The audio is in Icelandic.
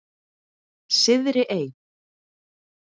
Syðri Ey